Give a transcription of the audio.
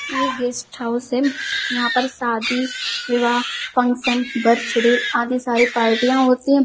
ये guest house है यहाँ पर शादी विवाह फंक्शन बर्थडे आदि सारी पार्टियाँ होती हैं।